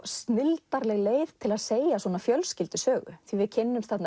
snilldarleg leið til að segja svona fjölskyldusögu því við kynnumst